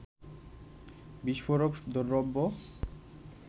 বিস্ফোফরক দ্রব্য